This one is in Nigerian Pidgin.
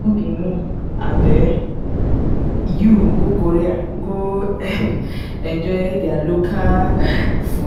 no be me and um you go korea go um enjoy their local um food?